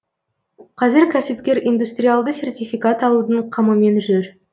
қазір кәсіпкер индустриалды сертификат алудың қамымен жүр